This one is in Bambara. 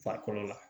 Farikolo la